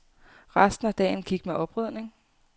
Resten af dagen gik med oprydning.